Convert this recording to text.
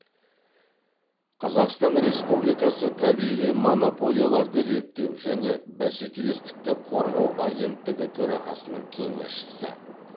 қазақстан республикасы табиғи монополияларды реттеу және бәскелестікті қорғау агенттігі төрағасының кеңесшісі